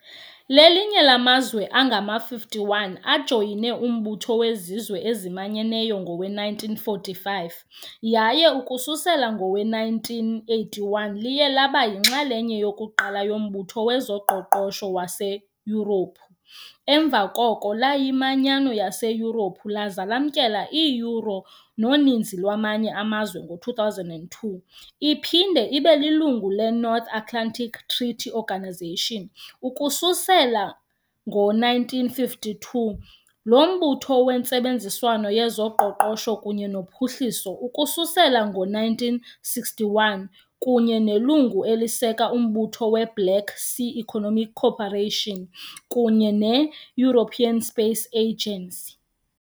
Lelinye lamazwe angama-51 ajoyine uMbutho weZizwe eziManyeneyo ngowe-1945 yaye ukususela ngowe-1981 liye laba yinxalenye yokuqala yoMbutho wezoQoqosho waseYurophu emva koko layiManyano yaseYurophu laza lamkela i- Euro noninzi lwamanye amazwe ngo-2002, iphinde ibe lilungu leNorth Atlantic Treaty Organisation ukususela ngo-1952, yoMbutho weNtsebenziswano yezoQoqosho kunye noPhuhliso ukususela ngo-1961, kunye nelungu eliseka uMbutho we-Black Sea Economic Cooperation kunye ne- European Space Agency.